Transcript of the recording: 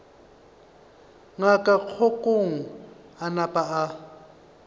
ngaka kgokong a napa a